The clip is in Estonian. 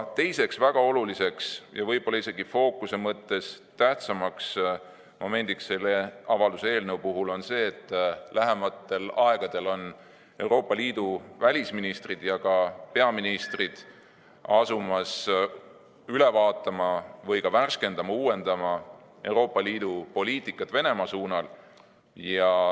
Teine väga oluline ja fookuse mõttes ehk isegi tähtsam moment selle avalduse eelnõu puhul on see, et lähimal ajal hakkavad Euroopa Liidu välisministrid ja peaministrid üle vaatama ja värskendama-uuendama Euroopa Liidu poliitikat Venemaa suunal.